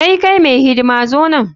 Hey! kai mai hidima zo nan.